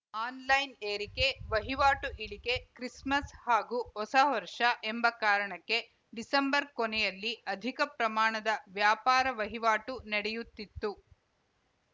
online ಏರಿಕೆ ವಹಿವಾಟು ಇಳಿಕೆ ಕ್ರಿಸ್‌ಮಸ್‌ ಹಾಗೂ ಹೊಸ ವರ್ಷ ಎಂಬ ಕಾರಣಕ್ಕೆ ಡಿಸೆಂಬರ್‌ ಕೊನೆಯಲ್ಲಿ ಅಧಿಕ ಪ್ರಮಾಣದ ವ್ಯಾಪಾರ ವಹಿವಾಟು ನಡೆಯುತ್ತಿತ್ತು